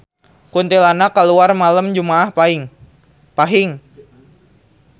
Kuntilanak kaluar malem jumaah Paing